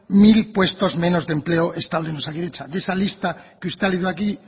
mil puestos menos de empleo estable en osakidetza de esa lista que usted ha leído aquí